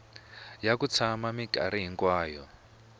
ya ku tshama minkarhi hinkwayo